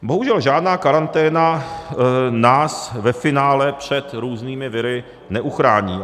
Bohužel žádná karanténa nás ve finále před různými viry neuchrání.